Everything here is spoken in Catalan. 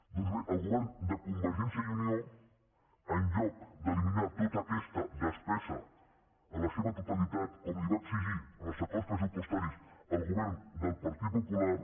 doncs bé el govern de convergència i unió en lloc d’eliminar tota aquesta despesa en la seva totalitat com li va exigir en els acords pressupostaris el govern del partit popular